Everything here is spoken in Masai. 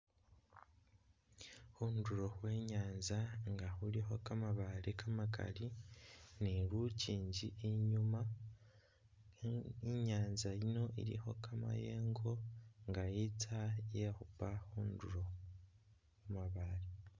Khundulo khwe nyanza nga khulikho kamabaale kamakaali ni lunjinji inyuma inyanza yiino ilikho kamayengo nga itsa yekhupa khundulo khumabaale